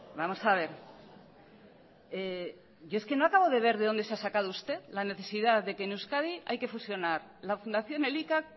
vamos a ver yo es que no acabo de ver de dónde se ha sacado usted la necesidad de que en euskadi hay que fusionar la fundación elika